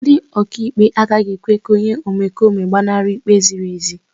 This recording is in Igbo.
Ndị ọkàikpe agaghị ekwe ka onye omekome gbanarị ikpe ziri ezi.